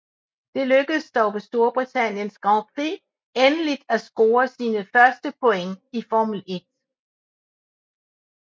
Det lykkedes dog ved Storbritanniens Grand Prix endeligt at score sine første point i Formel 1